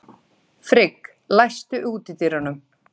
Frigg, læstu útidyrunum.